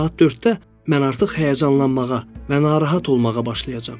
Saat 4-də mən artıq həyəcanlanmağa, və narahat olmağa başlayacam.